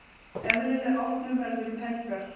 Eðlileg opnun verður um helgar.